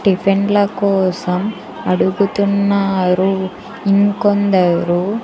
టిఫిన్ల కోసం అడుగుతున్నారు ఇంకొందరు.